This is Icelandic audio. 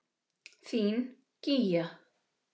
Þín, Gígja.